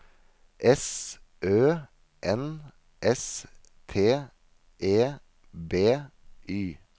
S Ø N S T E B Y